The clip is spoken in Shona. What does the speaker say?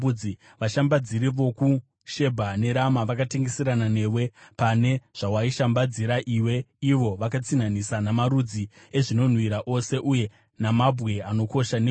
“ ‘Vashambadziri vokuShebha neRama vakatengeserana newe; pane zvawaishambadzira iwe ivo vakatsinhanisa namarudzi ezvinonhuhwira ose uye namabwe anokosha, negoridhe.